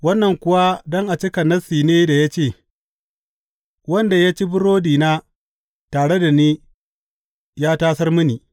Wannan kuwa don a cika Nassi ne da ya ce, Wanda ya ci burodina tare da ni ya tasar mini.’